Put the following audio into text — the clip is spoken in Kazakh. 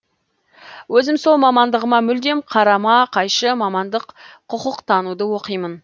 өзім сол мамандығыма мүлдем қарама қайшы мамандық құқықтануда оқимын